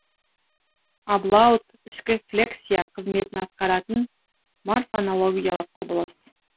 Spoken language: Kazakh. аблаут ішкі флексия қызметін атқаратын морфонологиялық құбылыс